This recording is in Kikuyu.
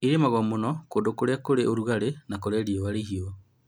Ĩlimagwo mũno kũndũ kũrĩ ũrugalĩ na kũrĩa kũrĩa kũhiũ